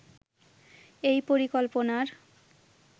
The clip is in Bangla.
এই পরিকল্পনার